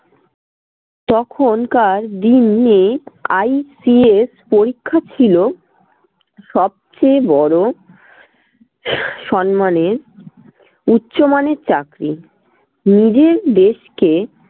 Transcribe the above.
তখনকার দিনে ICS পরীক্ষা ছিল সবচেয়ে বড়ো সম্মানের উচ্চমানের চাকরি। নিজের দেশকে